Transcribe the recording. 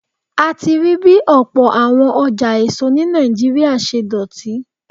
A ti rí bí ọ̀pọ̀ àwọn ọjà èso ní Nàìjíríà ṣe dọ̀tí.